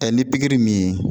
ni pikiri min